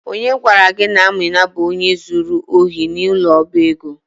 Onye gwara gi na Amina bu onye zuru ohi n'ulo oba ego?